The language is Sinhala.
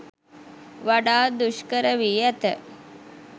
වඩාත් දුෂ්කර වී ඇත.